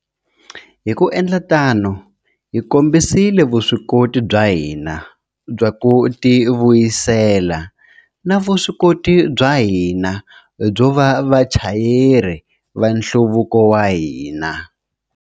Hi ku endla tano, hi kombisile vuswikoti bya hina bya ku tivuyisela na vuswikoti bya hina byo va vachayeri va nhluvuko wa hina.